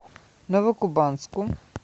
новокубанску